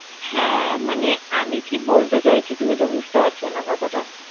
হ্যাঁ, মানে আমি কি বলতে চাইছি, তুমি তো বুঝতে পারছো না কথাটা?